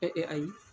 ayi